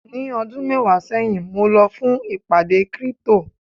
ní ọdún mẹwàá sẹyìn mo lọ fún ìpàdé crypto